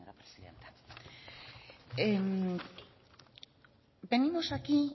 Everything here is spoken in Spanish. gracias señora presidenta venimos aquí